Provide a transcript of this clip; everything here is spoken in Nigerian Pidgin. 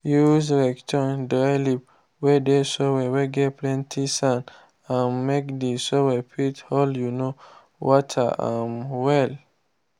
use rake turn dry leave whey dey soil whey get plenty sand um make the soil fit hold um water um well.